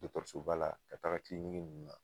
Dɔkɔtɔrɔsoba la ka taa nunnu na